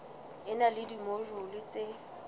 e na le dimojule tse